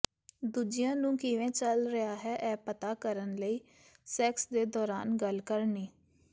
ਦੂਜਿਆਂ ਨੂੰ ਕਿਵੇਂ ਚਲ ਰਿਹਾ ਹੈ ਇਹ ਪਤਾ ਕਰਨ ਲਈ ਸੈਕਸ ਦੇ ਦੌਰਾਨ ਗੱਲ ਕਰਨੀ